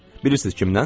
Bilirsiz kimdən?